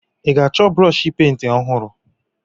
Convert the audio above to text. Ị ga-achọ brọọshị penti ọhụrụ?